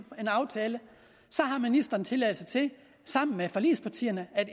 aftale så har ministeren tilladelse til sammen med forligspartierne at